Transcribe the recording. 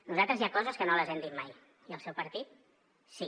nosaltres hi ha coses que no les hem dit mai i el seu partit sí